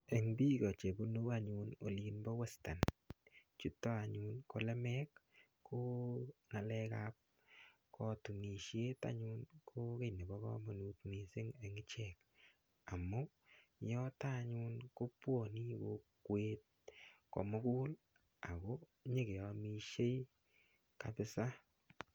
Eng biko chebunu anyun Olin bo western ko lemek ko ngalek ap kotunishet anyun ko kiy nebo komonut mising eng ichek amu yoto anyun ko buoni kokwet komugul ako nyekeomishei kapisa.